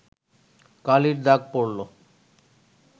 কালির দাগ পড়ল